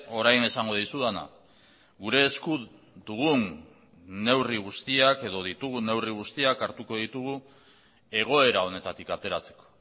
orain esango dizudana gure esku dugun neurri guztiak edo ditugun neurri guztiak hartuko ditugu egoera honetatik ateratzeko